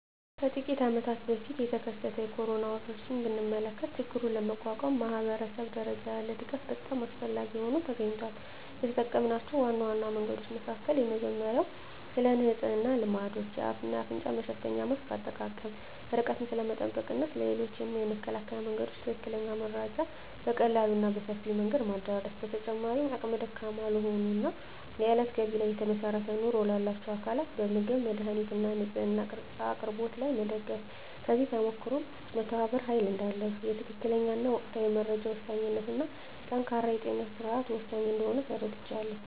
ከጥቂት አመታት በፊት የተከሰተውን የኮሮና ወረርሽኝ ብንመለከ ችግሩን ለመቋቋም ማኅበረሰብ ደረጃ ያለ ድጋፍ በጣም አስፈላጊ ሆኖ ተገኝቷል። የተጠምናቸው ዋና ዋና መንገዶች መካከል የመጀመሪያው ስለንጽህና ልማዶች፣ የአፍ እና አፍንጫ መሸፈኛ ማስክ አጠቃቀም፣ ርቀትን ስለመጠበቅ እና ስለ ሌሎችም የመከላከያ መንገዶች ትክክለኛ መረጃ በቀላሉ እና በሰፊው መንገድ ማዳረስ። በተጨማሪም አቅመ ደካማ ለሆኑ እና የእለት ገቢ ላይ ለተመሰረተ ኑሮ ላላቸው አካላት በምግብ፣ መድሃኒት እና ንፅህና እቃ አቅርቦት ላይ መደገፍ። ከዚህ ተሞክሮም መተባበር ኃይል እዳለው፣ የትክክለኛ እና ወቅታዊ መረጃ ወሳኝነት እና ጠንካራ የጤና ስርዓት ወሳኝ እንደሆነ ተረድቻለሁ።